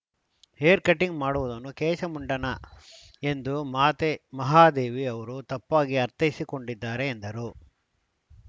haircutting ಮಾಡುವುದನ್ನು ಕೇಶಮುಂಡನ ಎಂದು ಮಾತೆ ಮಹಾದೇವಿ ಅವರು ತಪ್ಪಾಗಿ ಅರ್ಥೈಸಿಕೊಂಡಿದ್ದಾರೆ ಎಂದರು